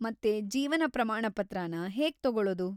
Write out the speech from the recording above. ಮತ್ತೆ ಜೀವನ ಪ್ರಮಾಣಪತ್ರನ ಹೇಗ್ ತಗೊಳೋದು?